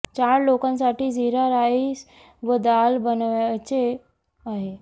चार लोकांसाठी जिरा राइ स व दाल बनवायच आहे